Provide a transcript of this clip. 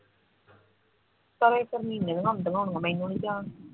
ਚਲੋ ਇੱਕ ਮਹੀਨੇ ਦਿਆਂ ਹੁੰਦੀਆਂ ਹੋਣੀਆਂ ਮੈਨੂੰ ਨੀ ਧਿਆਨ